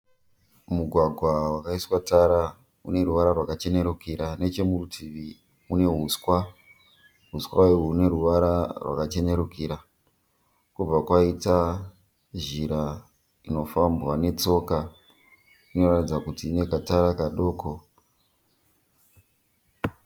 Mugwagwa vakaiswa Tara une ruvara rwakachenerukira nechemurutivi kune uswa huswa ihwoho huneruvara rwakachenerukira kobva kwaita nzira inofamba netsoka inoratidza kuti ine katara kadoko